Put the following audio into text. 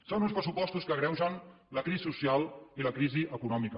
són uns pressupostos que agreugen la crisi social i la crisi econòmica